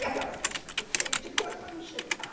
E aquelas fichas que eram cheias de coisas para não enxergar.